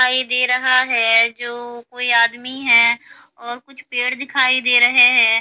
दिखाई दे रहा है जो कोई आदमी है और कुछ पेड़ दिखाई दे रहे हैं।